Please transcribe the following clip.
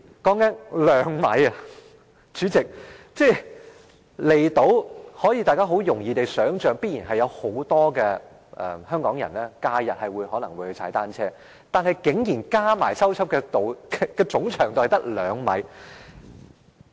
代理主席，大家也想象到，很多香港人在假日也會到離島踏單車，但已修葺的單車徑合計的總長度竟然只有兩米。